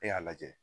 E y'a lajɛ